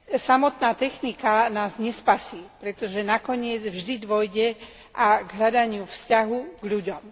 Samotná technika nás nespasí, pretože nakoniec vždy dôjde k hľadaniu vzťahu k ľuďom.